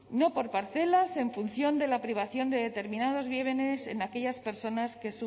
no por parcelas en función de la privación de determinados bienes en aquellas personas que